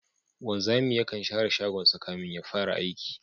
Wanzami yakan share shagonsa kafin ya fara aiki